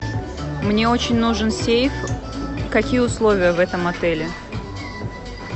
мне очень нужен сейф какие условия в этом отеле